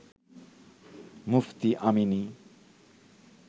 Mufti Amini